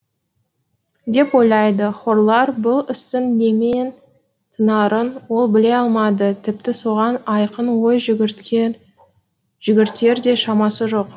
деп ойлады хорлал бұл істің немен тынарын ол біле алмады тіпті соған айқын ой жүгіртер де шамасы жоқ